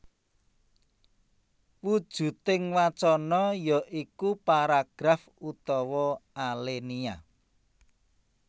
Wujuding wacana ya iku paragraf utawa alenia